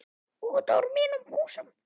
Út úr mínum húsum!